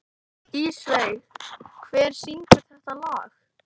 Ísveig, hver syngur þetta lag?